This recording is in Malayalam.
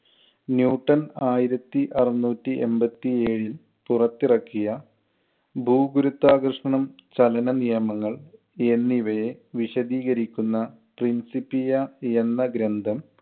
ന്യൂട്ടൺ ആയിരത്തി അറന്നൂറ്റി എൺപത്തി ഏഴില്‍ പുറത്തിറക്കിയ ഭൂഗുരുത്വാകർഷണം, ചലനം നിയമങ്ങൾ എന്നിവയെ വിശദീകരിക്കുന്ന principia എന്ന ഗ്രന്ഥം